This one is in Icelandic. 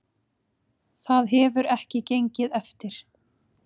Það hefur ekki gengið eftir